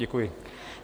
Děkuji.